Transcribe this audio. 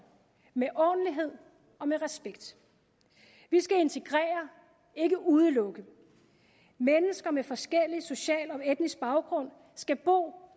med ordentlighed og med respekt vi skal integrere ikke udelukke mennesker med forskellig social og etnisk baggrund skal bo